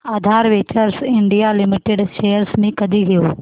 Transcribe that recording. आधार ventures India limited shares मी कधी घेऊ